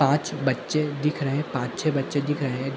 पाँच बच्चे दिख रहे हैं पांच-छे बच्चे दिख रहे हैं।